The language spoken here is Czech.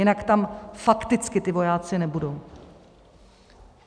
Jinak tam fakticky ti vojáci nebudou.